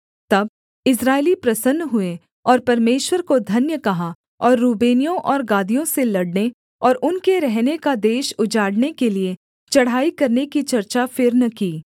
तब इस्राएली प्रसन्न हुए और परमेश्वर को धन्य कहा और रूबेनियों और गादियों से लड़ने और उनके रहने का देश उजाड़ने के लिये चढ़ाई करने की चर्चा फिर न की